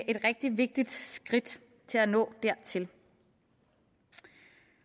et rigtig vigtigt skridt til at nå dertil